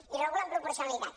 i regula amb proporcionalitat